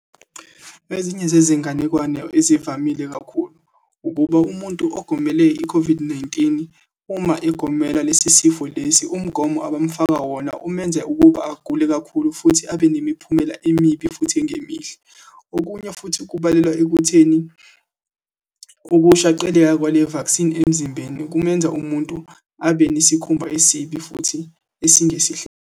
Ezinye zezinganekwane ezivamile kakhulu, ukuba umuntu okugomele i-COVID-19 uma egomela lesi sifo lesi, umgomo abamfaka wona umenza ukuba agule kakhulu, futhi abe nemiphumela emibi, futhi engemihle. Okunye futhi kubalelwa ekutheni, ukushaqeleka kwale-vaccine emzimbeni kumenza umuntu abe nesikhumba esibi, futhi esingesihle.